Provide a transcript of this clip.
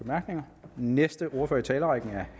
nederst det